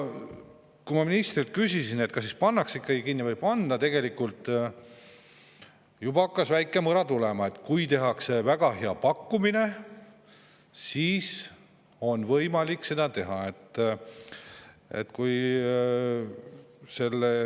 Kui ma ministrilt küsisin, kas siis maja pannakse kinni või ei panda, siis tegelikult juba hakkas väike mõra tulema: kui tehakse väga hea pakkumine, siis on võimalik seda.